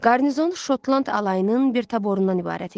Qarnizon Şotland alayının bir taborundan ibarət idi.